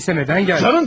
Eləysə nədən gəldin?